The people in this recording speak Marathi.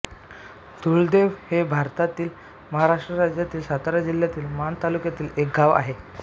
धूळदेव हे भारतातील महाराष्ट्र राज्यातील सातारा जिल्ह्यातील माण तालुक्यातील एक गाव आहे